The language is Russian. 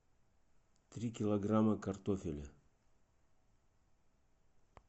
три килограмма картофеля